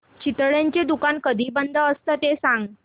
चितळेंचं दुकान कधी बंद असतं ते सांग